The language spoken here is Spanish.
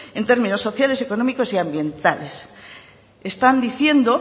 en términos sociales económicos y ambientales están diciendo